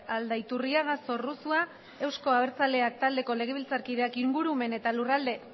aldaiturriaga zorrozua euzko abertzaleak taldeko legebiltzarkideak ingurumen eta lurralde